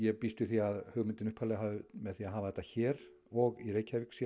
býst við því að hugmyndin upphaflega með því að hafa þetta hér og í Reykjavík sé